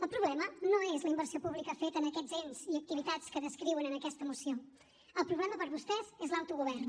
el problema no és la inversió pública feta en aquests ens i activitats que descriuen en aquesta moció el problema per vostès és l’autogovern